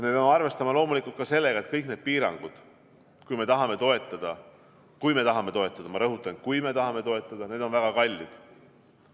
Me peame arvestama loomulikult ka sellega, et kõik need piirangud, kui me tahame toetada – ma rõhutan: kui me tahame toetada –, on väga kallid.